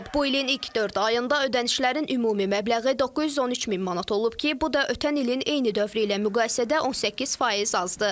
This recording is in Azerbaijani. Bu ilin ilk dörd ayında ödənişlərin ümumi məbləği 913 min manat olub ki, bu da ötən ilin eyni dövrü ilə müqayisədə 18% azdır.